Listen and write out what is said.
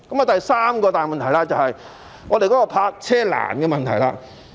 第三個大問題是泊車難的問題。